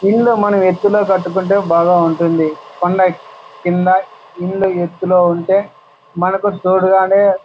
ఇల్లు మనం ఎత్తులో కట్టుకుంటే బాగా ఉంటుంది. కొండ కింద ఇల్లు ఎత్తులో ఉంటే మనకు చూడగానే --